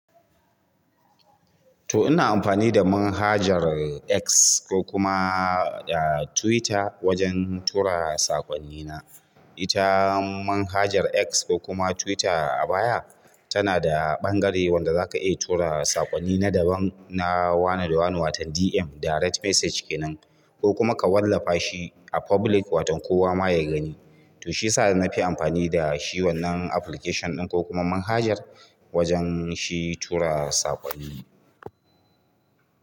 To ina amfani da manhajar X ko kuma Twitter wajen tura sakwanni na. Ita manhajar X ko kuma Twitter a baya tana da ɓangare wanda za ka iya tura saƙonni na daban, na wanene wani, watan DM direct message kenan ko kuma ka wallafa shi a public, waton kowa ma ya gani. To shi yasa na fi amfani da shi wannan application ɗin ko kuma manhajar wajen shi tura saƙonni.